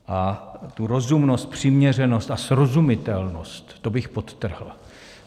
A tu rozumnost, přiměřenost a srozumitelnost, to bych podtrhl.